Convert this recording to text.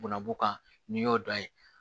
Bunabu kan n'i y'o dan ye